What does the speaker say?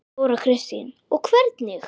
Þóra Kristín: Og hvernig?